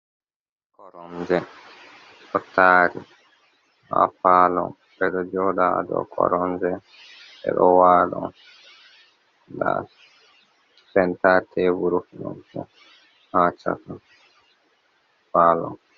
Koronje ɗo tari ha parlour, ɓe ɗo joɗa ha dou koronje, ɓe ɗo wala, nda center table ha chaka parlour.